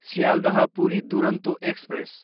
Sealdah, Puri Duronto express